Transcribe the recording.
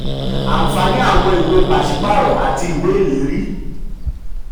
39. ànfààní àwọn ìwé ànfààní àwọn ìwé pàṣípààrọ̀ àti ìwé ìlérí.